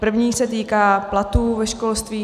První se týká platů ve školství.